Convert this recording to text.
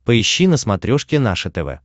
поищи на смотрешке наше тв